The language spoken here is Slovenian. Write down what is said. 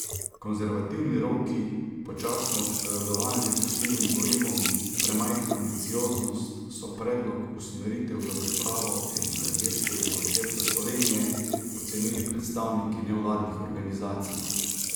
Konzervativni roki, počasno odpovedovanje fosilnim gorivom, premajhna ambicioznost, so predlog usmeritev za pripravo energetskega koncepta Slovenije ocenili predstavniki nevladnih organizacij.